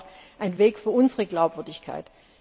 Das ist auch ein Weg für unsere Glaubwürdigkeit.